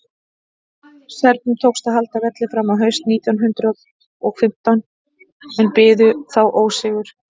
serbum tókst að halda velli fram á haust nítján hundrað og fimmtán en biðu þá ósigur